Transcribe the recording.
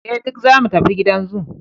eh duk zamu tafi gidan zoo